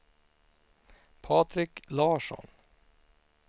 Patrik Larsson